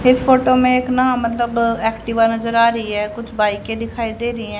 इस फोटो में एक ना मतलब एक्टिवा नजर आ रही है कुछ बाइके के दिखाई दे रही है।